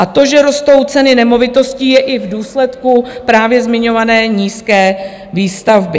A to, že rostou ceny nemovitostí, je i v důsledku právě zmiňované nízké výstavby.